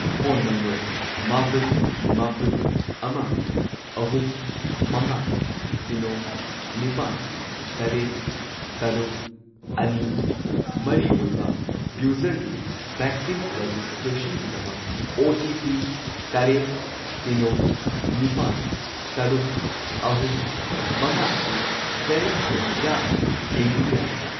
Phone number ꯃꯥꯄꯟ, ꯃꯥꯄꯟ, ꯑꯃ, ꯑꯍꯨꯝ, ꯃꯉꯥ, ꯁꯤꯅꯣ, ꯅꯤꯄꯥꯟ, ꯇꯔꯦꯠ, ꯇꯔꯨꯛ, ꯑꯅꯤ, ꯃꯔꯤ ꯑꯣꯏꯕ ꯌꯨꯖꯔꯒꯤ ꯚꯦꯛꯁꯤꯟ ꯔꯦꯖꯤꯁꯇ꯭ꯔꯦꯁꯟꯒꯤꯗꯃꯛ ꯑꯣ.ꯇꯤ.ꯄꯤ. ꯇꯔꯦꯠ, ꯁꯤꯅꯣ, ꯅꯤꯄꯥꯜ, ꯇꯔꯨꯛ, ꯑꯍꯨꯝ, ꯃꯉꯥ ꯑꯁꯤ ꯚꯦꯂꯤꯗ ꯑꯣꯏꯔꯤꯕ꯭ꯔꯥ ꯌꯦꯡꯕꯤꯕ ꯌꯥꯒꯗ꯭ꯔꯥ?